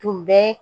Tun bɛ